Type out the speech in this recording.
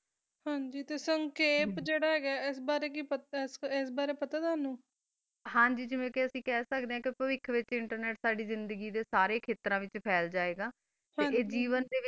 ਹਨ ਜੀ ਜਿਡਾ ਕਾ ਅਖਬਾਰੀ ਵੀ ਕੀ ਪਤਾ ਆ ਆ ਟੋਨੋ ਹਨ ਜੀ ਜਿਡਾ ਕਾ ਅਸੀਂ ਖਾ ਅਕੜਾ ਆ internet ਸਾਰਾ ਖਾਤਾ ਵਿਤਚ ਪਹਲ ਜਯਾ ਗਾ ਤਾ ਆ ਜੀਵਨ ਦਾ ਵਿਤਚ ਵੀ